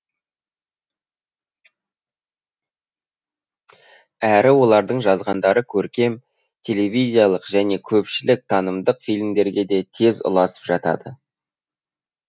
әрі олардың жазғандары көркем телевизиялық және көпшілік танымдық фильмдерге де тез ұласып жатады